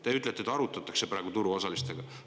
Te ütlete, et arutatakse praegu turuosalistega.